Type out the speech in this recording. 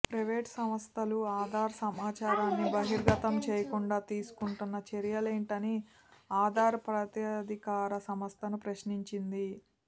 private సంస్థలు ఆధార్ సమాచారాన్ని బహిర్గతం చేయకుండా తీసుకుంటున్న చర్యలేంటని ఆధార్ ప్రాధికార సంస్థను ప్రశ్నించింది